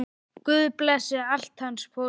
Guð blessi allt hans fólk.